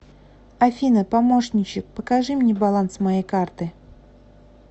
афина помощничек покажи мне баланс моей карты